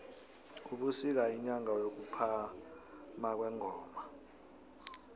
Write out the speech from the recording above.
ubusika yinyanga yokuphama kwengoma